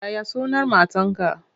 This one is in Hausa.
Ya ya sunan matarka?